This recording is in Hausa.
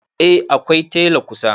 A akwai tela kusa